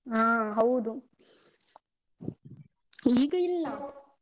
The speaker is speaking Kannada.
ಅ ಹೌದು ಈಗ ಇಲ್ಲ.